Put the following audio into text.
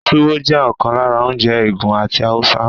Tuwo jẹ́ ọ̀kan lára oúnjẹ Ègùn àti Haúsá.